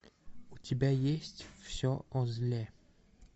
у тебя есть все о зле